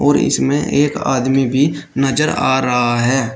और इसमें एक आदमी भी नजर आ रहा है।